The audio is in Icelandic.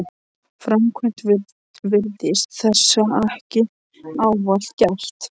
framkvæmd virðist þessa ekki ávallt gætt.